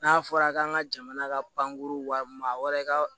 N'a fɔra k'an ka jamana ka pankuru wari ka